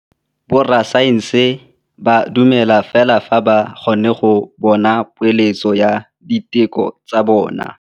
Borra saense ba dumela fela fa ba kgonne go bona poeletsô ya diteko tsa bone.